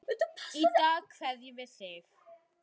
Í dag kveðjum við þig.